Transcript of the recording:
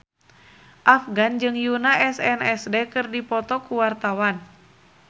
Afgan jeung Yoona SNSD keur dipoto ku wartawan